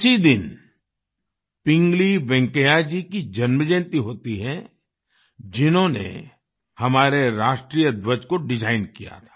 इसी दिन पिंगली वेंकैया जी की जन्मजयंती होती है जिन्होंने हमारे राष्ट्रीय ध्वज को डिजाइन किया था